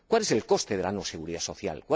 ¿Cuál es el coste de la no seguridad social?